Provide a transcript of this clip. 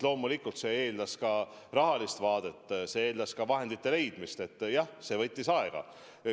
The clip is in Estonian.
Loomulikult muudatus eeldab ka rahalist vaadet, see eeldab vahendite leidmist – jah, see analüüs võttis aega.